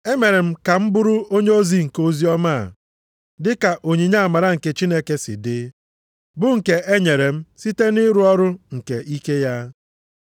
E mere m ka m bụrụ onyeozi nke oziọma a, dịka onyinye amara nke Chineke si dị, bụ nke e nyere m site nʼịrụ ọrụ nke ike ya.